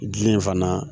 Gili in fana